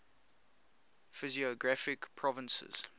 physiographic provinces